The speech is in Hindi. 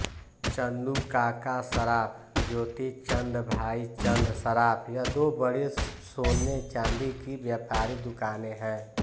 चंदुकाका सराफ ज्योतिचंद भाईचंद सराफ यह दो बड़ी सोने चांदी की व्यापारी दुकानें है